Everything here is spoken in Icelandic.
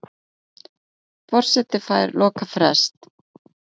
Forseti fær lokafrest